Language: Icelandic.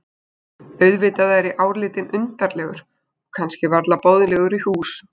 Auðvitað er ég álitinn undarlegur og kannski varla boðlegur í hús.